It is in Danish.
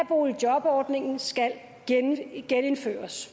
boligjobordningen skal genindføres